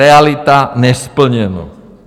Realita - nesplněno.